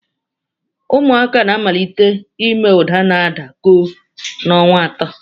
Ụmụ ohuru na-amalite ime uda n'ada koo n'ọnwa atọ.